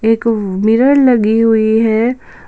एक मिरर लगी हुई है।